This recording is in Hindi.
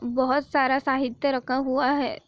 बहुत सारा साहित्य रखा हुआ है।